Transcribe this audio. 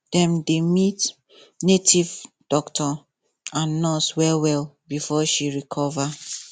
dem dey meet native doctor and nurse well well before she recover